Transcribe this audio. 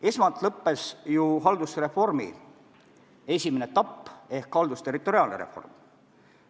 Esmalt lõppes ju haldusreformi esimene etapp ehk haldusterritoriaalne reform.